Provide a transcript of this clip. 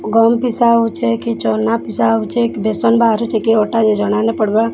ଗହମ ପିସା ହୋଉଚେଁ କି ଚନା ପିସା ହୋଉଚେଁ କି ବେସନ ବାହାରୁଚି କି ଅଟା ଯେ ଜନା ନେହିଁ ପଡବାର୍